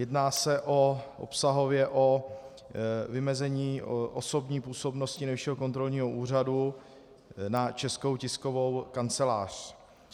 Jedná se obsahově o vymezení osobní působnosti Nejvyššího kontrolního úřadu na Českou tiskovou kancelář.